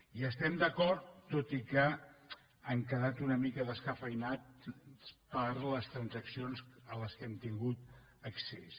hi estem d’acord tot i que han quedat una mica descafeïnats per les transaccions a què hem tingut accés